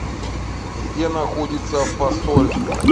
где находится фасоль